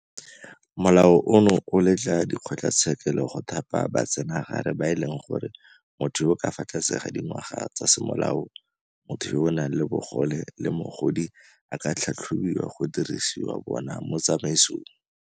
Molao ono o letla dikgotlatshekelo go thapa batsenagare ba e leng gore motho yo o ka fa tlase ga dingwaga tsa semolao, motho yo o nang le bogole le mogodi a ka tlhatlhobiwa go dirisiwa bona mo tsamaisong.